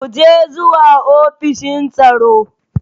Mu je zuwa ofishin tsaro.